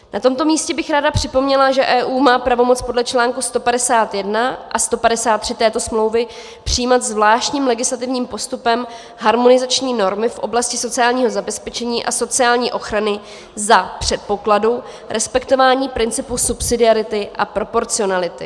Na tomto místě bych ráda připomněla, že EU má pravomoc podle článku 151 a 153 této smlouvy přijímat zvláštním legislativním postupem harmonizační normy v oblasti sociálního zabezpečení a sociální ochrany za předpokladu respektování principu subsidiarity a proporcionality.